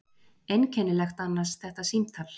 Einkennilegt annars þetta símtal.